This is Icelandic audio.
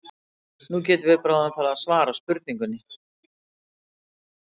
Nú getum við bráðum farið að svara spurningunni.